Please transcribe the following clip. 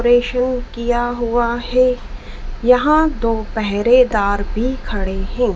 किया हुआ है यहां दो पहरेदार भी खड़े हैं।